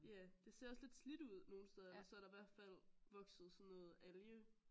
Ja det ser også lidt slidt ud nogle steder eller så er der i hvert fald vokset sådan noget alge